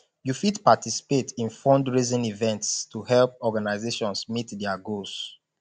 yu fit participate in fundraising events to help organizations meet their goals